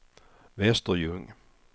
Västerljung